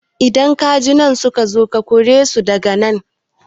Idan kajin nan suka zo ka kore su daga nan